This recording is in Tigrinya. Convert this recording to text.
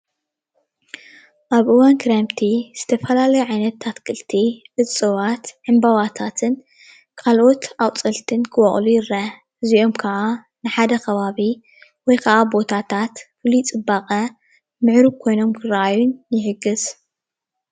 ኣብ እዋን ክረምቲ ዝተፈላለዩ ዓይነታት ኣትክልቲ እፅዋትን ዕምበባታትን ካልኦት ኣቁፅልትን ክበቁሉ ይረአ ፣ እዚኦም ከዓ ንሓደ ከባቢ ወይከዓ ቦታታት ፍሉይ ፅባቀ ምዕሩግ ኮይኖም ክረኣዩ ይሕግዝ።